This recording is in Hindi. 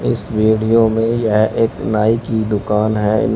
इस वीडियो में यह एक नाई की दुकान है। इं --